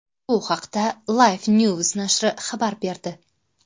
Bu haqda LifeNews nashri xabar berdi .